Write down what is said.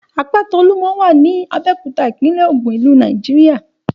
Àpáta Olúmọ wà ní Abéòkúta, ìpínlẹ̀ ògùn, ìlú Nàìjíríà.